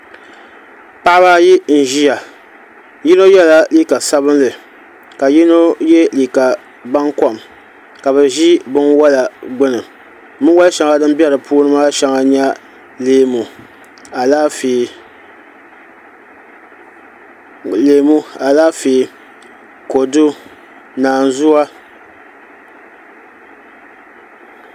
Paɣaba ayi n ʒiya yino yɛla liiga sabinli ka yino yɛ liiga baŋkom ka bi ʒi binwola gbuni binwoli shɛŋa din bɛ di puuni maa shɛŋa n nyɛ leemu Alaafee kodu naanzuwa